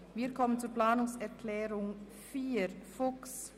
Wir kommen zur Planungserklärung 4 von Grossrat Fuchs.